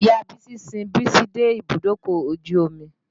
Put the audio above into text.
Ìya Bísí sin Bísí dé ibùdókọ̀ ojú omi.